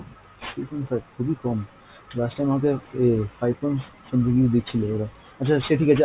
three point five খুবই কম, last time আপনাদের আহ five point something দিচ্ছিল ওরা, আচ্ছা সে ঠিক আছে